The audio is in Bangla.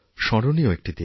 স্মরণীয়একটি দিন